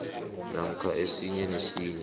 namkha esinye nesinye